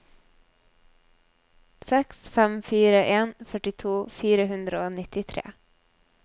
seks fem fire en førtito fire hundre og nittitre